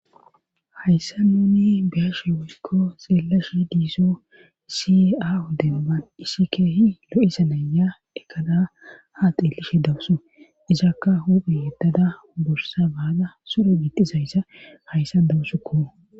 hayssa nuuni beashe woykko xeelashi diiso isiea odebaban issi keehi lo7isa naya dekada ha qilishe dawusu izakka huphe yeddada bursa baaga sure bixizayssa hayssa dawussukko